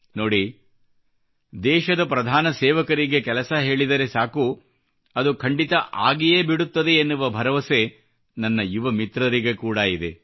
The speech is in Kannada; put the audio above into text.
ನೋಡಿ ದೇಶದ ಪ್ರಧಾನ ಸೇವಕರಿಗೆ ಕೆಲಸ ಹೇಳಿದರೆ ಸಾಕು ಅದು ಖಂಡಿತಾ ಆಗಿಯೇ ಬಿಡುತ್ತದೆ ಎನ್ನುವ ಭರವಸೆ ನನ್ನ ಯುವ ಮಿತ್ರರಿಗೆ ಕೂಡಾ ಇದೆ